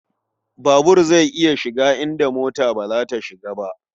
Babur zai iya shiga inda mota ba ta shiga.